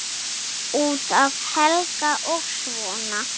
Út af Helga og svona.